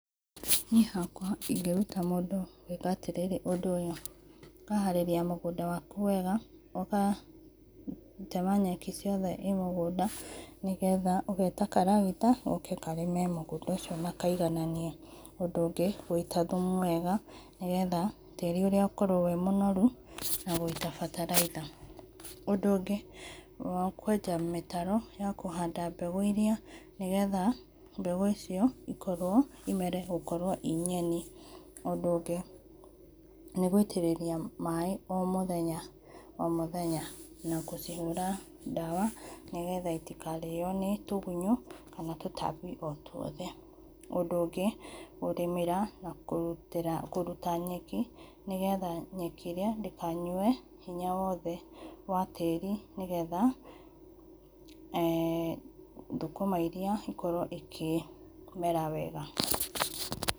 Niĩ hakwa ingĩrũta mũndũ gwĩka atĩrĩrĩ ũndũ ũyũ ũkaharĩrĩa mũgũnda wakũ wega ũgatema nyekĩ ciothe i mũgũnda nĩgetha ũgeta karagĩta goke karĩme mũgũnda ũcio na kaigananie, ũndũ ũgĩ gũĩta thũmũ wega nĩgetha tarĩ ũrĩa ũkorwo wĩ mũnorũ na kũĩta batalaitha. Undũ ũgĩ nĩ wa kũenja mĩtaro ya kũhanda mbegũ ĩrĩa nĩ getha mbegũ icio ĩkorwo ĩ mere gũkorwo ĩ nyeni, ũndũ ũngĩ nĩ gũĩtĩrĩrĩa maĩ o mũthenya o mũthenya na gũcĩhũra ndawa nĩ getha itikarĩo nĩ tugunyo kana tũtambi o tũothe. Undũ ũgĩ kũrĩmĩra na kũrũta nyekĩ nĩ getha nyekĩ ĩrĩa ndĩkanyũe hĩnya wothe wa tarĩ nĩ getha eh thũkũma ĩrĩa ĩkorwo ikĩmera wega.